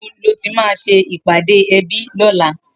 Nibó lò mà sé ipàdé èbí lòlá?